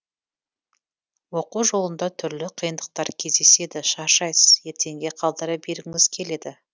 оқу жолында түрлі қиындықтар кездеседі шаршайсыз ертеңге қалдыра бергіңіз келеді бірақ бастапқы уақытта кішкене өзіңізді қамшылап жіберсеңіз әрі қарай жұмыстану іздену оңай болары анық